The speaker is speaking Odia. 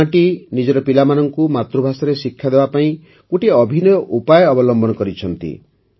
ଏହି ଗ୍ରାମଟି ନିଜର ପିଲାମାନଙ୍କୁ ମାତୃଭାଷାରେ ଶିକ୍ଷାଦେବାକୁ ଗୋଟିଏ ଅଭିନବ ଉପାୟ ଅବଲମ୍ବନ କରିଛନ୍ତି